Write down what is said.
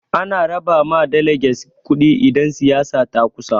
Ana raba ma daleges kuɗi idan siyasa ta kusa.